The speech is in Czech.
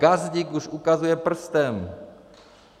Gazdík už ukazuje prstem.